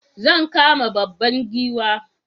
Zan kama babban giwa